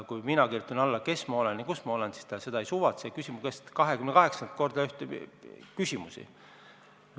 Kui mina kirjutan alla, kes ma olen ja kus ma olen, siis tema seda ei suvatse, aga küsib mu käest 28 korda ühtesid ja samu küsimusi.